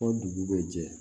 O dugu bɛ jɛ